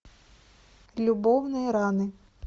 любовные раны